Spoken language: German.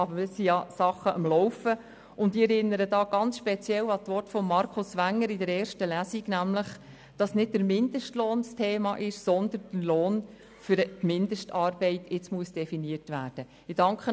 Aber es sind Dinge am Laufen, und ich erinnere hier ganz speziell an die Worte von Markus Wenger während der ersten Lesung, wonach nämlich nicht der Mindestlohn das Thema sei, sondern jetzt der Lohn für eine Mindestarbeit definiert werden müsse.